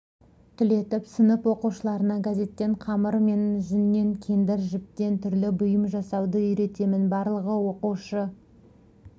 түлетіп сынып оқушыларына газеттен қамыр мен жүннен кендір жіптен түрлі бұйым жасауды үйретемін барлығы оқушы